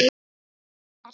Og kunni að hlusta.